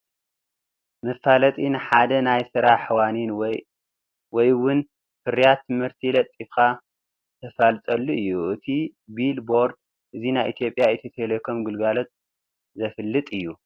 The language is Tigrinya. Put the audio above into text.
መፋለጢ፡- መፋለጢ ንሓደ ናይ ስራሕ ዋኒን ወይ ውን ፍርያት ምህርቲ ለጢፍካ ተፋልጠሉ እዩ፡፡ እቲ ቢል ቦርድ እዚ ናይ ኢ/ያ ኢትዮ-ቴሌኮም ግልጋሎቱ ዘፋልጥ እዩ፡፡